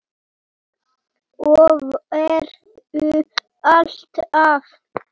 Og verður alltaf.